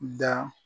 Da